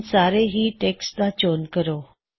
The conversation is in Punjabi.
ਹੁਣ ਸਾਰੇ ਹੀ ਟੈੱਕਸਟ ਦਾ ਚੋਣ ਕਰੋ